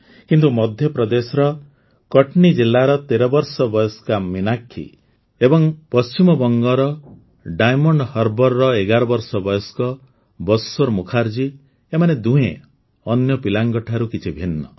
କିନ୍ତୁ ମଧ୍ୟପ୍ରଦେଶର କଟ୍ନୀ ଜିଲ୍ଲାର ୧୩ ବର୍ଷ ବୟସ୍କା ମୀନାକ୍ଷୀ ଏବଂ ପଶ୍ଚିମ ବଙ୍ଗର ଡାୟମଣ୍ଡ ହାର୍ବର୍ର ୧୧ ବର୍ଷ ବୟସ୍କ ବଶ୍ୱର ମୁଖାର୍ଜୀ ଏମାନେ ଦୁହେଁ ଅନ୍ୟ ପିଲାମାନଙ୍କ ଠାରୁ କିଛି ଭିନ୍ନ